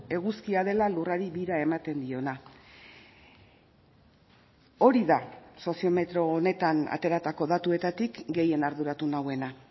eguzkia dela lurrari bira ematen diona hori da soziometro honetan ateratako datuetatik gehien arduratu nauena